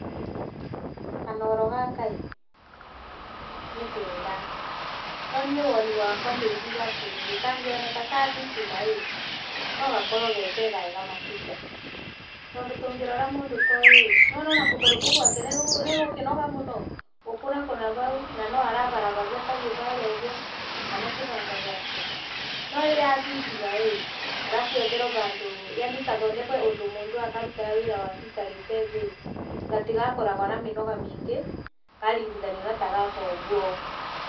Kanooro gaka ĩ, nĩ kega, no niĩ woni wakwa ndingiuga atĩrĩrĩ kangĩoneka ka thitima ĩ no gakorwo arĩ gekegega makĩrĩa. Tondu tūngĩrora mūndū ta ūyū ĩ nĩūrona ona kūgūrū kūu gwake nĩ gūgūkĩnoga mūno, gūkūnakūna bau no arabarabaria kabiū barĩa ūguo kana kĩbanga gĩake no ĩrĩ ya thitima ĩ, harafu yetherwo bandū [sc] yaani gathondekwo ūndū mūndū akarutaga wĩra wake aikarĩte thĩ gatigakoragwo na mĩnoga mĩingĩ karingithanio na ta gaka ūguo.